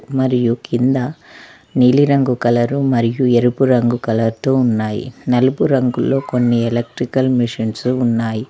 మరియు కింద నీలి రంగు కలరు మరియు ఎరుపు రంగు కలర్ తో ఉన్నాయి. నలుపు రంగులో కొన్ని ఎలక్ట్రికల్ మిషన్స్ ఉన్నాయి.